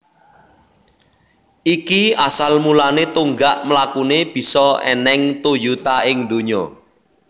Iki asal mulane tonggak mlakune bisa eneng Toyota ing dunya